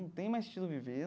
Não tem mais sentido viver.